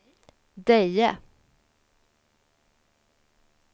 Deje